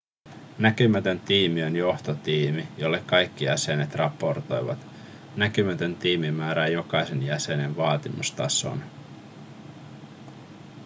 näkymätön tiimi on johtotiimi jolle kaikki jäsenet raportoivat näkymätön tiimi määrää jokaisen jäsenen vaatimustason